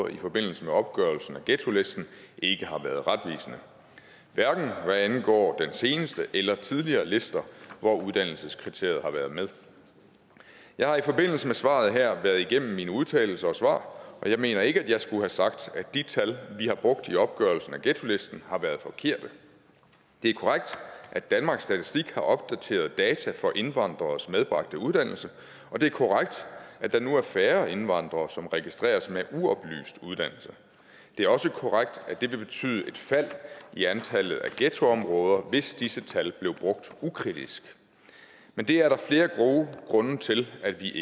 i forbindelse med opgørelsen af ghettolisten ikke har været retvisende hverken hvad angår den seneste eller tidligere lister hvor uddannelseskriteriet har været med jeg har i forbindelse med svaret her været igennem mine udtalelser og svar og jeg mener ikke at jeg skulle have sagt at de tal vi har brugt i opgørelsen af ghettolisten har været forkerte det er korrekt at danmarks statistik har opdaterede data for indvandreres medbragte uddannelse og det er korrekt at der nu er færre indvandrere som registreres med uoplyst uddannelse det er også korrekt at det ville betyde et fald i antallet af ghettoområder hvis disse tal blev brugt ukritisk men det er der flere gode grunde til at vi